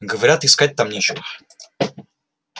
говорят искать там нечего